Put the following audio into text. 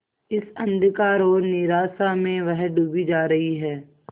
इस अंधकार और निराशा में वह डूबी जा रही है